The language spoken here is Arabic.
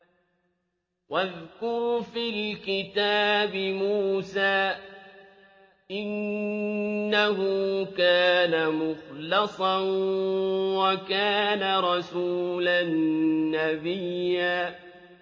وَاذْكُرْ فِي الْكِتَابِ مُوسَىٰ ۚ إِنَّهُ كَانَ مُخْلَصًا وَكَانَ رَسُولًا نَّبِيًّا